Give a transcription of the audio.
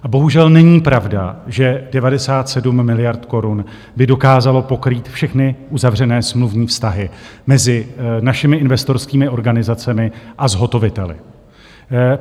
Bohužel není pravda, že 97 miliard korun by dokázalo pokrýt všechny uzavřené smluvní vztahy mezi našimi investorskými organizacemi a zhotoviteli.